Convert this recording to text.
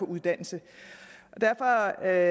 uddannelse derfor er jeg